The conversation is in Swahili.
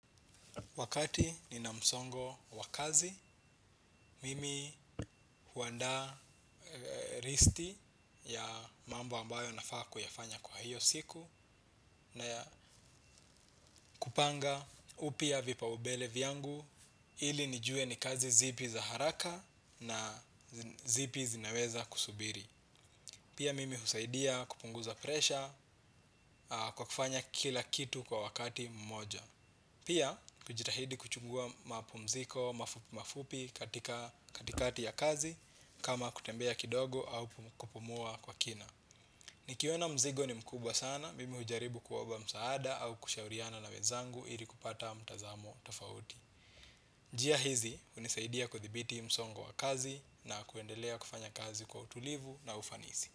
Wakati nina msongo wa kazi, mimi huandaa listi ya mambo ambayo nafaa kuyafanya kwa hiyo siku na kupanga upya vipaumbele vyangu ili nijue ni kazi zipi za haraka na zipi zinaweza kusubiri. Pia mimi husaidia kupunguza presha kwa kufanya kila kitu kwa wakati mmoja. Pia, kujitahidi kuchukua mapumziko mafupi mafupi katika katikati ya kazi kama kutembea kidogo au kupumua kwa kina. Nikiona mzigo ni mkubwa sana mimi hujaribu kuomba msaada au kushauriana na wenzangu ili kupata mtazamo tofauti. Njia hizi, hunisaidia kudhibiti msongo wa kazi na kuendelea kufanya kazi kwa utulivu na ufanisi.